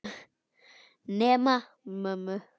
Nema mömmu.